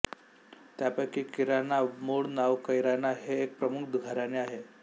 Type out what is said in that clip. त्यांपैकी किराणा मूळ नाव कैराना हे एक प्रमुख घराणे आहे